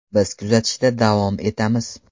Biz kuzatishda davom etamiz.